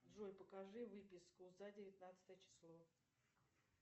джой покажи выписку за девятнадцатое число